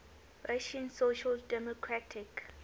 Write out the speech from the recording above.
russian social democratic